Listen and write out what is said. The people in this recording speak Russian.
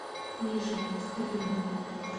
ближе стерлина